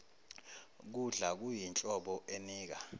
kudla kuyinhlobo enika